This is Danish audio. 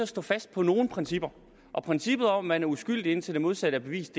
stå fast på nogle principper og princippet om at man er uskyldig indtil det modsatte er bevist